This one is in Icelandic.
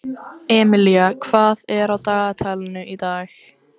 Emilía, hvað er á dagatalinu í dag?